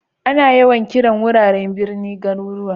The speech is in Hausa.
Ana yawan kiran wuraren birni garuruwa.